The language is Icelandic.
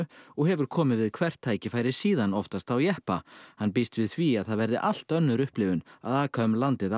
og hefur komið við hvert tækifæri síðan oftast á jeppa hann býst við því að það verði allt önnur upplifun að aka um landið á